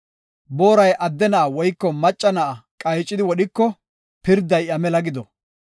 Booray adde na7a woyko macca na7a qaycidi wodhiko pirday iya mela gido.